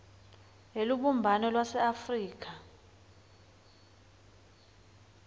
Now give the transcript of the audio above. elubumbano lwase afrika